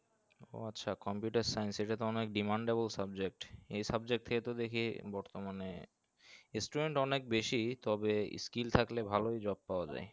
বর্তমানে student অনেক বেশি তবে skill থাকলে ভালোই job পাওয়া যায়।